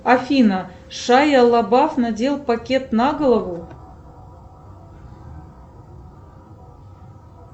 афина шая лабаф надел пакет на голову